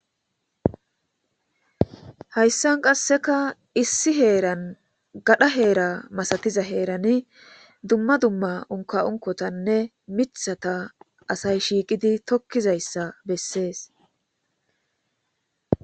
Hayssan qasseka issi heeran gadha heera masatiza heerani dumma dumma unka unkotanne mithata asay shiiqidi tokkizayssa bessees.